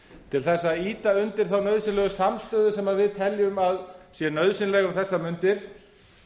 til þess að ýta undir þá nauðsynlegu samstöðu sem við teljum að sé nauðsynleg um þessar mundir